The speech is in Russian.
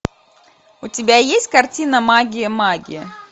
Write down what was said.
у тебя есть картина магия магия